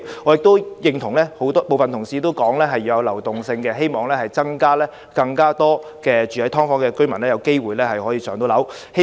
我亦認同部分同事所說，要有流動性，希望增加居住在"劏房"的居民"上樓"的機會。